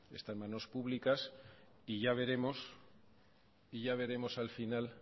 está en manos públicas y ya veremos al final